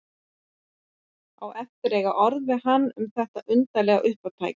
Á eftir að eiga orð við hann um þetta undarlega uppátæki.